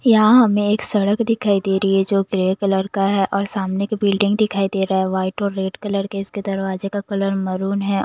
यहाँ हमें एक सड़क दिखाई दे रही है जो ग्रे कलर का है और सामने की बिल्डिंग दिखाई दे रहा है वाइट और रेड कलर के इसके दरवाजे का कलर मरून है--